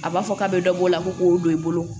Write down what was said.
A b'a fɔ k'a bɛ dɔ bɔ o la ko k'o don i bolo